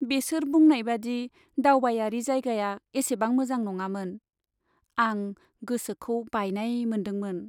बेसोर बुंनायबादि दावबायारि जायगाया एसेबां मोजां नङामोन, आं गोसोखौ बायनाय मोनदोंमोन।